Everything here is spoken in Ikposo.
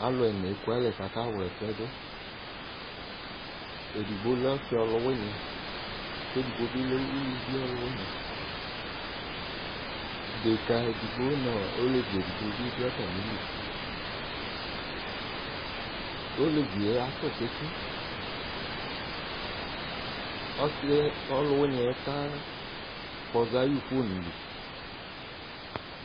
alò ɛna eku alɛ k'aka wla ɛsɛ do edigbo lɛ ɔsi ɔlò wini k'edigbo bi lɛ uluvi ɔlò wini deka edigbo no olevi edigbo bi do atami li olevi yɛ atò tsitsi ɔsi yɛ ɔlò wini yɛ ka kpɔza ayi fon li